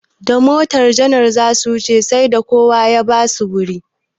Da motar janar zasu wuce sai da kowa ya basu wuri.